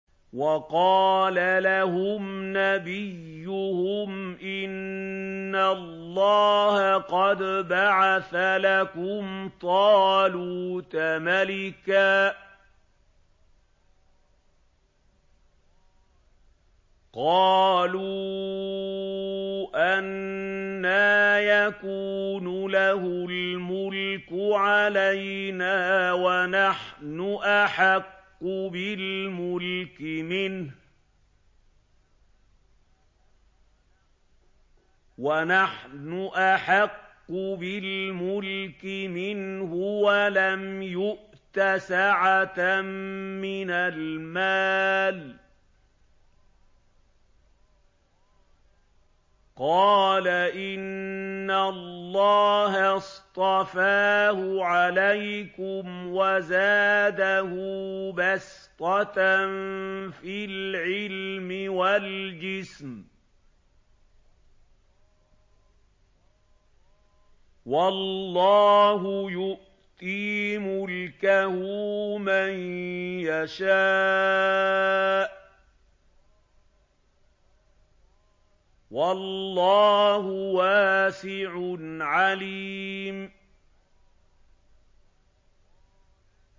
وَقَالَ لَهُمْ نَبِيُّهُمْ إِنَّ اللَّهَ قَدْ بَعَثَ لَكُمْ طَالُوتَ مَلِكًا ۚ قَالُوا أَنَّىٰ يَكُونُ لَهُ الْمُلْكُ عَلَيْنَا وَنَحْنُ أَحَقُّ بِالْمُلْكِ مِنْهُ وَلَمْ يُؤْتَ سَعَةً مِّنَ الْمَالِ ۚ قَالَ إِنَّ اللَّهَ اصْطَفَاهُ عَلَيْكُمْ وَزَادَهُ بَسْطَةً فِي الْعِلْمِ وَالْجِسْمِ ۖ وَاللَّهُ يُؤْتِي مُلْكَهُ مَن يَشَاءُ ۚ وَاللَّهُ وَاسِعٌ عَلِيمٌ